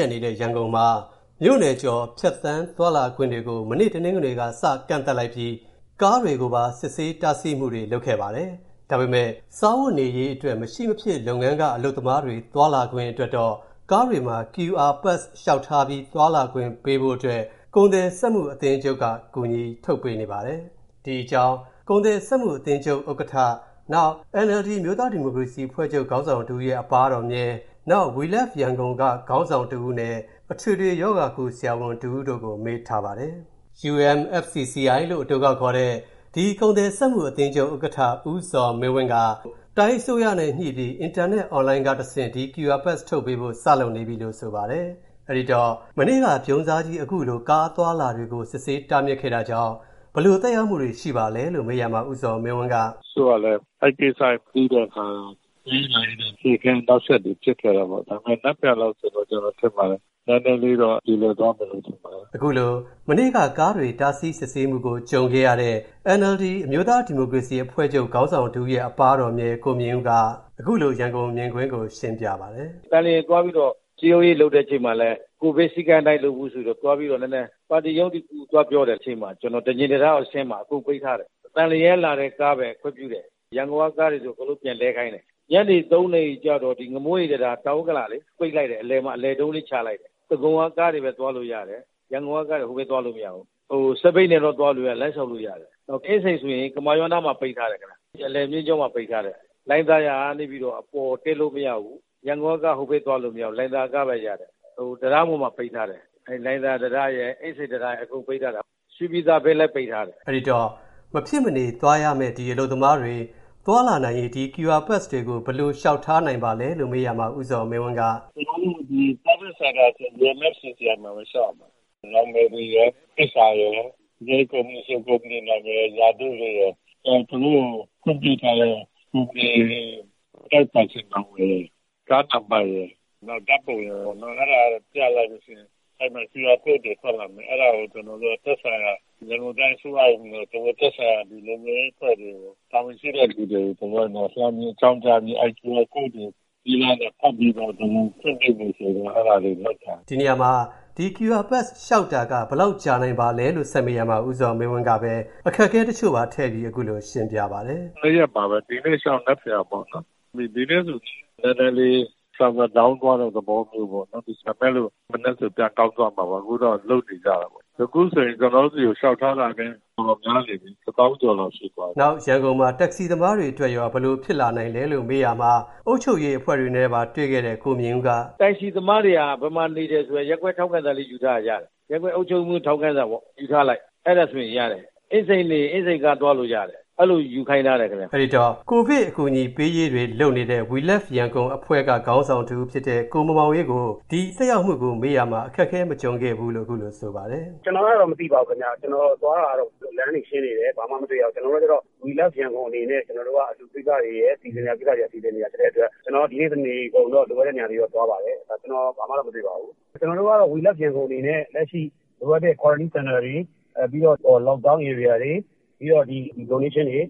က်နေတဲ့ ရန်ကုန်တိုင်းအတွင်း မြို့နယ်တွေကြား ဖြတ်ကျော်သွားလာခွင့်ကို တနင်္ဂနွေနေ့က စကန့်သတ်လိုက်ပြီး ကားအသွားအလာတွေကိုပါ စစ်ဆေးတားဆီးမှုတွေ လုပ်ဆောင်နေပါတယ်။ သတ်မှတ်ထားတဲ့ မရှိမဖြစ်လိုအပ်တဲ့ လုပ်ငန်းတွေ၊ လုပ်ငန်းရှင်တွေ၊ ဝန်ထမ်းတွေနဲ့ အလုပ်သမားတွေ သွားလာခွင့်အတွက် ကားတွေမှာ QR Pass လျှောက်ထားပြီး သွားခွင့်ပေးဖို့ မြန်မာနိုင်ငံ ကုန်သည်များနဲ့ စက်မှုလုပ်ငန်းရှင်များအသင်းချုပ် က ရန်ကုန်တိုင်းအစိုးရကို ကူညီလုပ်ဆောင်ပေးနေပါတယ်။ အပြည့်အစုံကို ဆက်သွယ်မေးမြန်းထားတဲ့ ကိုဝင်းမင်းက တင်ပြပေးထားပါတယ်။ UMFCCI ဥက္ကဋ္ဌ ဦးဇော်မင်းဝင်းက ရန်ကုန်တိုင်းအစိုးရနဲ့ ညှိပြီး အင်တာနက် On-Line ကတဆင့် ဒီ QR Pass ထုတ်ပေးဖို့ စလုပ်နေပြီလို့ ဆိုပါတယ်။ အဲ့ဒီတော့ မနေ့က ဗြုန်းစားကြီး အခုလို ကားအသွားအလာတွေကို စစ်ဆေးတားဆီးခဲ့တာတွေ ရှိတာကြောင့် ဘယ်လိုသက်ရောက်မှုတွေ ရှိပါလဲလို့ မနေ့ညက မေးရာမှာ ဦးဇော်မင်းဝင်းက - “တချို့ကလည်း အဲ့ဒီကိစ္စတွေ မသိခဲ့တဲ့အခါ သွားရေးလာရေးနဲ့ အခက်အခဲ နောက်ဆက်တွေ ဖြစ်ခဲ့တာပေါ့။ ဒါပေမယ့် နက်ဖြန် နေ့လောက်ဆိုရင်တော့ ကျနော် ထင်ပါတယ် နည်းနည်းလေးတော့ ပြေလည်သွားမယ်လို့ ထင်ပါတယ်။” လို့ ရှင်းပြပါတယ်။ အခုလို မနေ့က ကားတွေတားဆီးစစ်ဆေးမှုကို ကြုံခဲ့ရတဲ့ NLD အမျိုးသားဒီမိုကရေစီအဖွဲ့ချုပ် အဖွဲ့ဝင်တဦးဖြစ်တဲ့ ကိုမြင့်ဦးက အခုလို ရန်ကုန်မြင်ကွင်းကို ရှင်းပြပါတယ်။ “သန်လျင်သွားပြီးတော့ စည်းရုံးရေး လုပ်တဲ့အခါမှာလည်း ကိုဗစ်စည်းကမ်းအတိုင်း လုပ်ဖို့ဆိုပြီးတော့ နည်းနည်း ပါတီရုံးတခုကို သွားပြောတဲ့အချိန်မှာ ကျနော် သန်လျင်တံတားအဆင်းမှာ အခု ပိတ်ထားတယ်။ သန်လျင်ကလာတဲ့ကားပဲ ခွင့်ပြုတယ်၊ ရန်ကုန်ကကားတွေဆို အကုန်လုံး ပြန်လှည့်ခိုင်းတယ်။ ညနေ ၃ နာရီလောက်ကျတော့ ငမိုးရိပ်တံတား ဒီ တောင်ဥက္ကလာလေ ပိတ်လိုက်တယ်။ အလယ်မှာ အလယ်တုံးလေး ချလိုက်တယ်။ ဒဂုံကကားတွေပဲ သွားလို့ရတယ်၊ ရန်ကုန်ကကားတွေ ဟိုဘက်သွားလို့မရဘူး။ စက်ဘီးနဲ့တော့ သွားလို့ရတယ်၊ လမ်းလျှောက်လို့ရတယ်။ နောက် အင်းစိန်ဆိုရင် ကမာရွတ်နား မှာ ပိတ်ထားတယ်။ ဒီအလယ်မျဉ်းကြောင်းမှာ ပိတ်ထားတယ်။ နောက် လှိုင်သာယာကနေပြီးတော့ အပေါ်ကို တက်လို့မရဘူး။ ရန်ကုန်ကကား ဟိုဘက် သွားလို့မရဘူး၊ လှိုင်သာယာကားပဲရတယ်၊ တံတားပေါ်မှာ ပိတ်ထားတယ်။ အဲ့ဒီ လှိုင်သာယာတံတား ရယ်၊ အင်းစိန်တံတားရယ် အကုန်ပိတ်ထားတာ။ ရွှေပြည်သာဘက်လည်း ပိတ်ထားတယ်။” အဲ့ဒီတော့ မဖြစ်မနေသွားရမယ့် အလုပ်သမားတွေ သွားလာနိုင်ရေး ဒီ QR Pass တွေကို ဘယ်လိုလျှောက်ထားနိုင်ပါလဲလို့ မေးရာမှာ ဦးဇော်မင်းဝင်းက - “ကျနော်တို့ ဒီ Service Center ဆိုတာ UMFCCI မှာပဲ လျှောက်ရမှာပါ။ နာမည်တွေရယ်၊ လိပ်စာရယ်၊ နယ်ကုမ္ပဏီဆို ကုမ္ပဏီအမည်ရယ်၊ ရာထူးတွေရယ်၊ နောက် သူတို့ကို ခွင့်ပြုထားတာတွေ၊ Tax ပေးထားတာရယ်၊ ကားနံပါတ်ရယ်၊ နောက် ဓာတ်ပုံရယ်၊ အဲ့ဒါတော့ပြလိုက်ရင် QR Quote တွေ ထွက်လာမယ်။ အဲ့ဒါတွေကို ကျနော်တို့က သက်ဆိုင်ရာ ရန်ကုန်တိုင်းအစိုးရကနေပြီးတော့ သက်ဆိုင်ရာ လုံခြုံရေးအဖွဲ့တွေကို တာဝန်ရှိတဲ့သူတွေကို လှမ်းပြီး အကြောင်းကြားပြီး ဒီ QR Quote တွေကို ဖတ်ပြီးတော့ ကျနော်တို့ ခွင့်ပြုဖို့ဆိုပြီးတော့ အဲ့ဒါလေးလုပ်ထားတယ်။” လို့ ပြောပါတယ်။ ဒီနေရာမှာ ဒီ QR Pass လျှောက်တာက ဘယ်လောက်ကြာနိုင်ပါလဲလို့ မေးရာမှာ ဦးဇော်မင်းဝင်းကပဲ အခက်အခဲတချို့ပါထည့်ပြီး ခုလိုရှင်းပြပါတယ်။ “၂ ရက်ပါပဲ၊ ဒီနေ့လျှောက် နက်ဖြန်ပဲပေါ့နော်။ ဒီနေ့ ဆို Server နည်းနည်းလေး Down သွားတဲ့ သဘောမျိုးပေါ့နော်၊ ဒါပေမယ့် မနက် ဆို ပြန်ပြီးတော့ ကောင်းသွားမှာပါ။ အခုတော့ လုပ်နေကြတာပေါ့။ အခုဆိုရင် ကျနော်တို့ဆီကို လျှောက်ထားတာလည်း တော်တော်များနေပြီ၊ တသောင်းကျော်လောက် ရှိသွားပြီ။” နောက် ရန်ကုန်မှာ တက္ကစီသမားတွေအတွက်ရော ဘယ်လိုဖြစ်လာနိုင်ပါလဲလို့ မေးရာမှာ အုပ်ချုပ်ရေးအဖွဲ့တွေနဲ့ပါ တွေ့လာခဲ့တဲ့ ကိုမြင့်ဦးက အခုလိုပြောပါတယ်။ “တက္ကစီသမားတွေဟာ ဘယ်မှာနေတယ်ဆိုတာ ရပ်ကွက်ထောက်ခံစာလေး ယူထားရင် ရတယ်။ ရပ်ကွက်အုပ်ချုပ်ရေးမှူး ထောက်ခံစာပေါ့၊ ယူထားလိုက်၊ အဲ့ဒါဆိုရင် ရတယ်။ အင်းစိန်နေရင် အင်းစိန်ကား သွားလို့ရတယ်။ အဲ့လို ယူခိုင်းထားတယ်ခင်ဗျ။” အဲ့ဒီတော့ ကိုဗစ်ရောဂါဆိုင်ရာ အကူအညီပေးရေးတွေ လုပ်နေတဲ့ We Love Yangon အဖွဲ့က ခေါင်းဆောင်တဦးဖြစ်တဲ့ ကိုမောင်မောင်အေးကို ဒီသက်ရောက်မှုကို မေးရာမှာ အခက်အခဲ မကြုံခဲ့ဘူးလို့ ခုလို ဆိုပါတယ်။ “ကျနော်ကတော့ မသိပါဘူးခင်ဗျ။ ကျနော်သွားတာတော့ လမ်းတွေရှင်းနေတယ်။ ဘာမှမတွေ့ရဘူး။ ကျနော်တို့ကကျတော့ We Love Yangon အနေနဲ့ အလှူကိစ္စတွေရယ်၊ စီစဉ်စရာရှိတာတွေ စီစဉ်နေတာ ဖြစ်တဲ့အတွက် ကျနော် ဒီနေ့ တနေကုန်တော့ လိုအပ်တဲ့နေရာတွေတော့ သွားပါတယ်။ ကျနော်တော့ ဒါ ဘာမှတော့ မတွေ့ပါဘူး။ ကျနော်တို့ We Love Yangon အနေနဲ့ လက်ရှိ လိုအပ်တဲ့ Quarantine Center တွေ၊ ပြီးတော့ Lockdown Area တွေ၊ ဒီ Donation တွေ၊